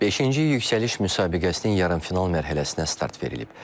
Beşinci yüksəliş müsabiqəsinin yarımfinal mərhələsinə start verilib.